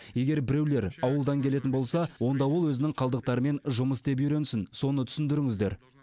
егер біреулер ауылдан келетін болса онда ол өзінің қалдықтарымен жұмыс істеп үйренсін соны түсіндіріңдер